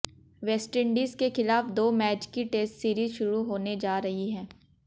West Indies के खिलाफ दो मैच की टेस्ट सीरीज शुरू होने जा रही है